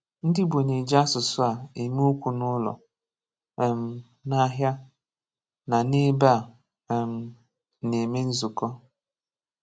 **Ndị Igbo nà-ejị àsụsụ a èmè okwụ n’ụlọ, um n’àhià, nà n’èbè a um nà-èmè nzụkọ.**